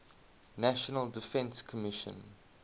national defense commission